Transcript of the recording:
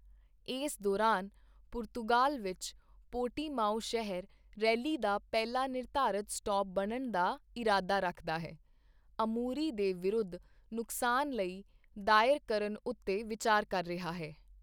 ਇਸ ਦੌਰਾਨ, ਪੁਰਤਗਾਲ ਵਿੱਚ ਪੋਰਟੀਮਾਓ ਸ਼ਹਿਰ, ਰੈਲੀ ਦਾ ਪਹਿਲਾ ਨਿਰਧਾਰਤ ਸਟਾਪ ਬਣਨ ਦਾ ਇਰਾਦਾ ਰੱਖਦਾ ਹੈ, ਅਮੂਰੀ ਦੇ ਵਿਰੁੱਧ ਨੁਕਸਾਨ ਲਈ ਦਾਇਰ ਕਰਨ ਉੱਤੇ ਵਿਚਾਰ ਕਰ ਰਿਹਾ ਹੈ।